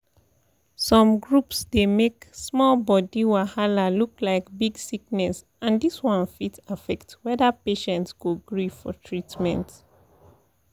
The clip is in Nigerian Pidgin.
some groups dey make small body wahala look like big sickness and this one fit affect whether patient go gree for treatment